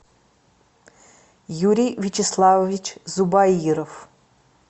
юрий вячеславович зубаиров